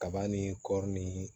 Kaba ni kɔɔri ni